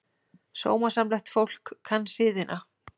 Sómasamlegt fólk kann siðina.